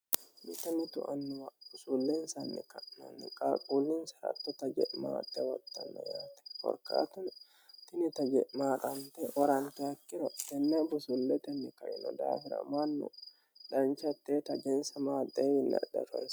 mita mitu annuwa busuulleensanni ka'nanni qaalquullinsa rattota je'maaxxe maxxanno yaate korkaatuno kinita je'maaqante horanti hattiro inna busuulletenni kaino daafira mannu danchattee tagensa maaxeewinni adhanonsa.